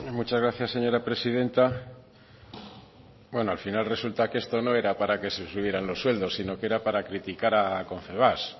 muchas gracias señora presidenta bueno al final resulta que esto no era para que se subieran los sueldos sino que era para criticar a confebask